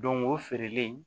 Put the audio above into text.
Don go feerelen